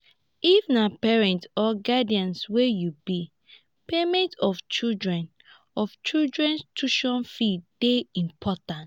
if na parent or guidian wey you be payment of children's of children's tution fee de important